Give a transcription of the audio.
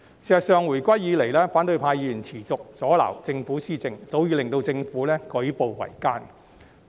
事實上，回歸以來，反對派議員持續阻撓政府施政，早已令到政府舉步維艱。